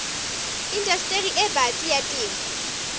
indastering e batsi ya temo